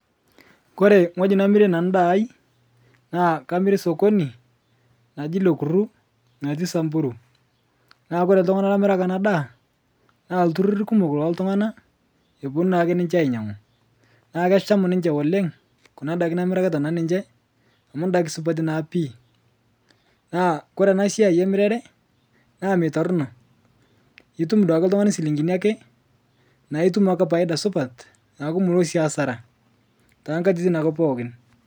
Kore ng'oji namire nanu ndaai naa kamire sokoni naji lekuru natii samburu naa kore ltung'ana lamiraki ana daa naa ltururi kumo looltung'ana eponu naake ninche ainyang'u naa kesham ninche oleng' kuna daki namiraki ninche amu ndaki supati naa pii. Naa kore ana siai emirare naa meitorino, itum duake ltung'ani silinkini ake naa itum ake paida supat naaku mulo duake asara taakatitin ake pooki.